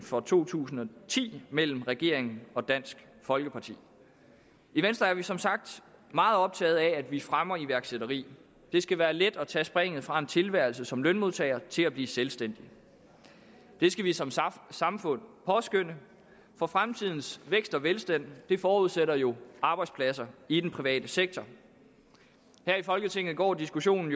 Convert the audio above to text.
for to tusind og ti mellem regeringen og dansk folkeparti i venstre er vi som sagt meget optaget af at vi fremmer iværksætteri det skal være let at tage springet fra en tilværelse som lønmodtager til at blive selvstændig det skal vi som samfund påskønne for fremtidens vækst og velstand forudsætter jo arbejdspladser i den private sektor her i folketinget går diskussionen